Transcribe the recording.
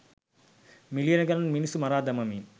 මිලියන ගණන් මිනිසුන් මරා දමමින්